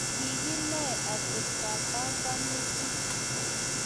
Kikinae atebto ab panganutik